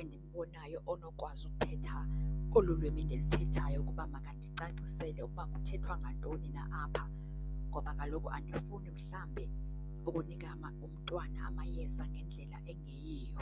endimbonayo onokwazi uthetha olu lwimi ndiluthethayo ukuba makandicacisele ukuba kuthethwa ngantoni na apha. Ngoba kaloku andifuni mhlawumbe ukunika umntwana amayeza ngendlela engeyiyo.